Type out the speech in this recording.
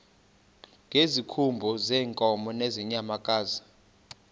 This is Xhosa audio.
ngezikhumba zeenkomo nezeenyamakazi